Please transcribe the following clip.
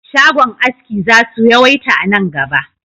Shagon aski za su yawaita a nan gaba